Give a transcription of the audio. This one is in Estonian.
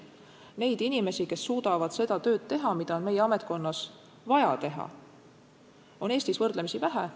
Neid inimesi, kes suudavad seda tööd teha, mida on meie ametkonnas vaja teha, on Eestis võrdlemisi vähe.